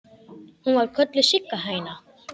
Hún var kölluð Sigga hæna.